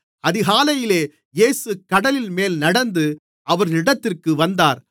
அதிகாலையிலே இயேசு கடலின்மேல் நடந்து அவர்களிடத்திற்கு வந்தார்